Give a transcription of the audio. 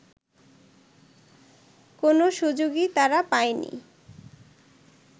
কোনো সুযোগই তারা পায়নি